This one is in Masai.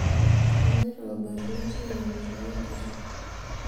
eshomoito ilbarnot airemisho o nkishu